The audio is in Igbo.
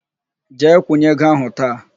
Jee kwụnye ego ahụ taa!